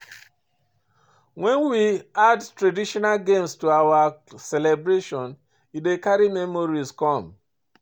When we add traditional games to our celebration e dey carry memories come